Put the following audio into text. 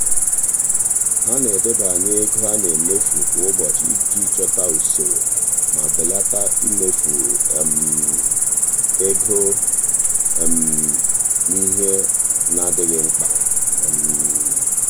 ha na-edebanye ego a na-emefu kwa ụbọchị iji chọta usoro ma belata imefu um ego um n'ihe adịghị mkpa. um